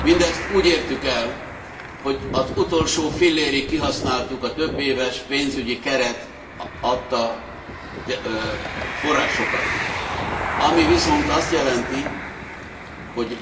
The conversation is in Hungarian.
Mindezt úgy értük el, hogy az utolsó fillérig kihasználtuk a többéves pénzügyi keret adta forrásokat, ami viszont azt jelenti, hogy